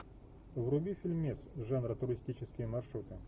вруби фильмец жанра туристические маршруты